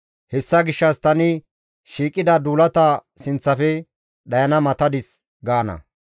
Hessa gishshas tani shiiqida duulata sinththafe dhayana matadis» gaana.